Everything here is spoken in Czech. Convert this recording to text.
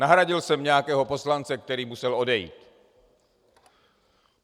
Nahradil jsem nějakého poslance, který musel odejít.